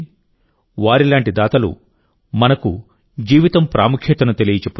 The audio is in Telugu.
వారిలాంటి దాతలు మనకు జీవితం ప్రాముఖ్యతను తెలియజెప్పుతారు